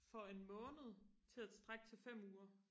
for en måned til og strække til fem uger